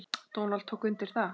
Donald tók undir það.